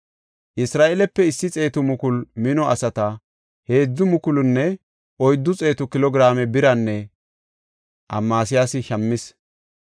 Isra7eelepe issi xeetu mukulu mino asata heedzu mukulunne oyddu xeetu kilo giraame biran Amasiyaasi shammis.